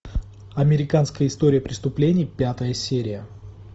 американская история преступления пятая серия